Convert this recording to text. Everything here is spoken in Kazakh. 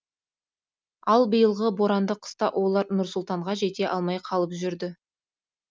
ал биылғы боранды қыста олар нұр сұлтанға жете алмай қалып жүрді